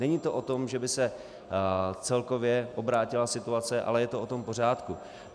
Není to o tom, že by se celkově obrátila situace, ale je to o tom pořádku.